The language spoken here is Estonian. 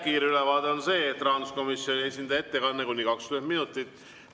Kiire ülevaade on see, et rahanduskomisjoni esindaja ettekanne on kuni 20 minutit.